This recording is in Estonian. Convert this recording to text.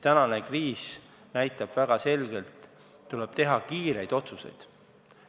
Praegune kriis näitab väga selgelt, et tuleb teha kiireid otsuseid.